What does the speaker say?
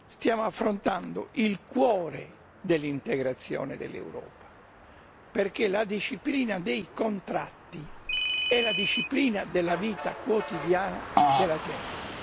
Stiamo affrontando il cuore dell'integrazione dell'Europa, perché la disciplina dei contratti è la disciplina della vita quotidiana della gente.